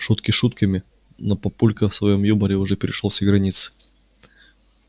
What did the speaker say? шутки шутками но папулька в своём юморе уже перешёл все границы